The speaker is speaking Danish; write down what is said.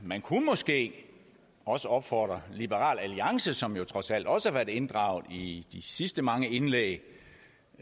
man kunne måske også opfordre liberal alliance som jo trods alt også har været inddraget i de sidste mange indlæg